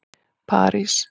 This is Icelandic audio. París